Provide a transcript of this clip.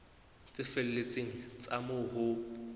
tse felletseng tsa moo ho